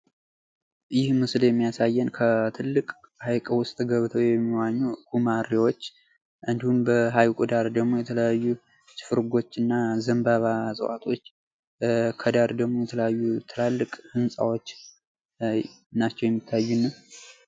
ይህ ምስል የሚያሳየን ከትልቅ ሃይቅ ዉስጥ ገብተው የሚዋኙ ጉማሬወች እንዲሁም በሃይቁ ዳር ደግሞ የተለያዩ እና ዘንባባ እጽዋቶች ገዳር ደግሞ የተለያዩ ትልልቅ ህንጻዎች ናቸው የሚታዩን።